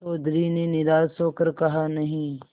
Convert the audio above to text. चौधरी ने निराश हो कर कहानहीं